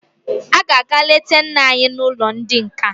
Ị ga-aga leta nna anyị n'ụlọ ndị nka!